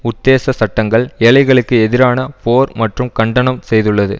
உத்தேச சட்டங்கள் ஏழைகளுக்கு எதிரான போர் மற்றும் கண்டனம் செய்துள்ளது